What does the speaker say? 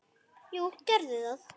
Jú, gerðu það